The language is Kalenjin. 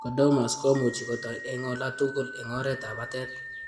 Chordomas ko much kotoi eng' ola tugul eng oretab batet.